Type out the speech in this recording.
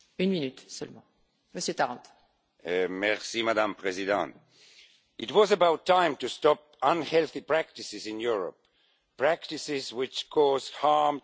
Madam President, it was about time to stop unhealthy practices in Europe, practices which cause harm to children, grown ups and domestic animals.